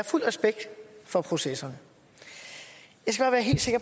fuld respekt for processerne